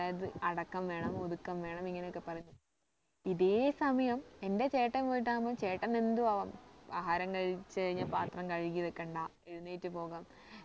അതായത് അടക്കം വേണം ഒതുക്കം വേണം ഇങ്ങനെ ഒക്കെ പറഞ്ഞിട്ട് ഇതേ സമയം എന്റെ ചേട്ടൻ പോയിട്ടാവുമ്പം ചേട്ടന് എന്തും ആവാം ആഹാരം കഴിച്ച് കഴിഞ്ഞാൽ പത്രം കഴുകി വെക്കണ്ട എഴുന്നേറ്റ് പോവാം